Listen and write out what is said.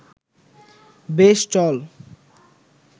বেশ, চল